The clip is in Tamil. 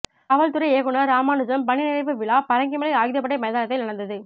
காவல்துறை இயக்குனர் ராமனுஜம் பணி நிறைவு விழா பரங்கிமலை ஆயுதப்படை மைதானத்தில் நடந்தது